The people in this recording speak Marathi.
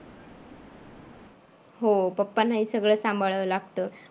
हो पप्पांनाही सगळं सांभाळावं लागतं.